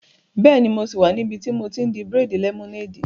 Bẹ́ẹ̀ni, mo sì wà níbi tí mo ti n di bírèèdì lẹ́mọ́néèdì